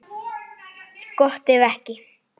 Gott ef ekki.